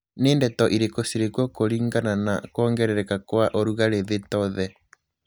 nī ndeto irīkū cirī kuo kūlingana na kūongerereka kwa ūrugarī thī to the